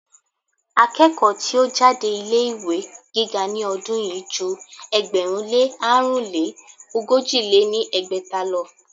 Akẹ́kọ̀ọ́ tí ó jáde ilé ìwé gíga ní ọdún yìí ju ẹgbẹ̀rún lé àrún lé ogójì lé ní ẹgbẹ́ta lọ.